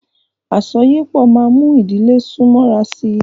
Àsọyépọ̀ máa mú ìdílé sún mọ́ra sí.